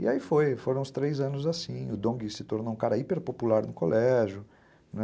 E aí foi, foram os três anos assim, o Dong se tornou um cara hiper popular no colégio, né?